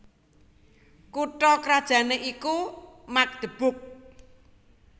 Kutha krajané iku Magdeburg